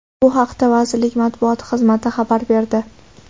Bu haqida vazirlik matbuot xizmati xabar berdi .